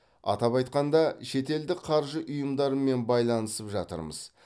атап айтқанда шетелдік қаржы ұйымдарымен байланысып жатырмыз